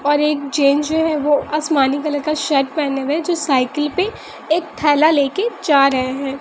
और एक जेंट्स जो है वो आसमानी कलर का शर्ट पेहनें हुए है जो साइकिल पे एक थैला लेके जा रहे हैं।